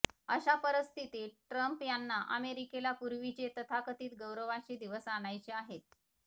अशा परिस्थितीत ट्रम्प यांना अमेरिकेला पूर्वीचे तथाकथित गौरवाचे दिवस आणायचे आहेत